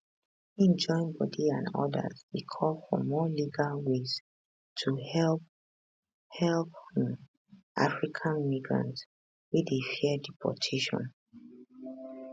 im joinbodi and odas dey call for more legal ways to help help um african migrants wey dey fear deportation